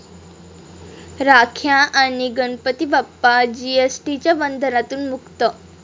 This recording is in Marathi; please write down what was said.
राख्या आणि गणपती बाप्पा 'जीएसटी'च्या बंधनातून मुक्त!